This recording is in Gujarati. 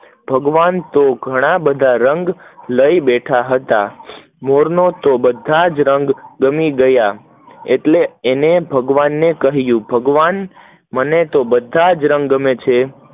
ભગવાન તો ઘણા બધા રંગ લઇ બેઠા છે મોર ને તો બધા રંગ ગમી ગયા, એટલે એને ભગવને કહીંયુ ભગવાન મને તો બધા જ રંગ ગમે છે